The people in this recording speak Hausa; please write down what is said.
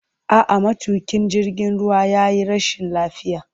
A'a, matuƙin jirgin ruwa ya yi rashin lafiya.